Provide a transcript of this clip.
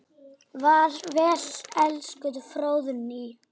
Far vel elsku Fróðný.